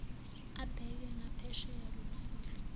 abheke ngaphesheya komfula